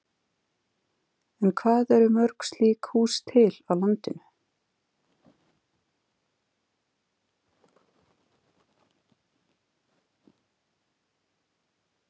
En hvað eru mörg slík hús til á landinu?